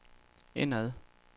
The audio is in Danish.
indad